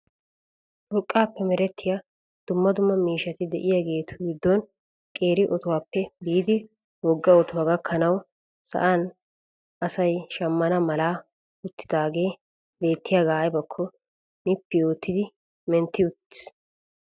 Urqqaappe merettiyaa dumma dumma miishshati de'iyaagetu giddon qeeri otuwaappe biidi wogga otuwaa gakkanwau sa'an asay shammana mala uttidagee bettiyaagaa aybakko nippi oottidi menttii aggis!